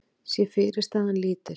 sé fyrirstaðan lítil.